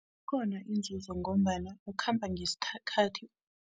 Ikhona inzuzo ngombana ukhamba ngesikhathi.